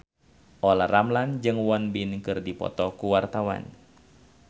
Olla Ramlan jeung Won Bin keur dipoto ku wartawan